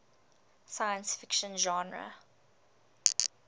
science fiction genre